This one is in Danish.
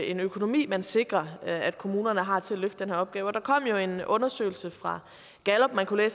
en økonomi man sikrer at kommunerne har til at løfte den her opgave der kom en undersøgelse fra gallup man kunne